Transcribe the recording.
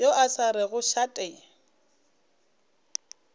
yo a sa rego šate